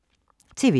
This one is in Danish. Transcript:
TV 2